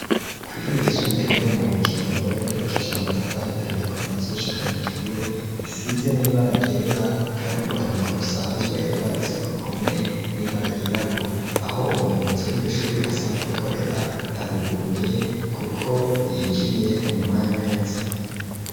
Kw'isuru igisumbae ryo mu kirundo ryibakisha amatafari ahiye ko vasi gushikana ijuru isize n'iba aragyera, kandi n'urwandiko rusanzwe rwanditse ku ruhome niba aragirabura aho umuyobozi w'iryo shuri asanzwe akorera haruguruye, kuko yinjiye mu mwanya nheze.